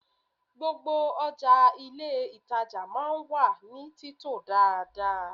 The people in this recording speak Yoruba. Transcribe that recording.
Gbogbo ọjà inú ilé ìtàjà máa ń wà ní títò dáadáa.